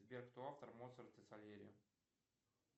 сбер кто автор моцарт и сальери